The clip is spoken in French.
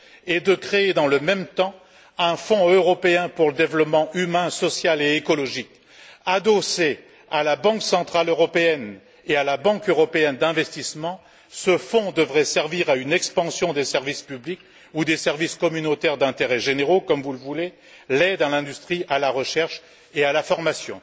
et de créer, dans le même temps, un fonds européen pour le développement humain, social et écologique. Adossé à la Banque centrale européenne et à la Banque européenne d'investissement, ce fonds devrait servir à une expansion des services publics ou des services communautaires d'intérêt généraux, comme vous le voulez et de l'aide à l'industrie, à la recherche et à la formation.